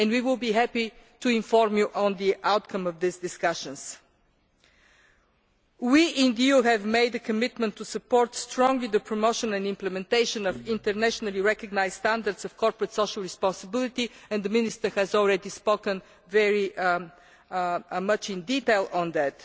We will be happy to inform you of the outcome of these discussions. We in the EU have made a commitment to strongly support the promotion and implementation of internationally recognised standards of corporate social responsibility and the Minister has already spoken in great detail on that.